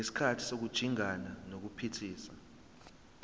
ngesikhathi sokujingana nokuphithiza